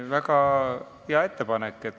Väga hea ettepanek.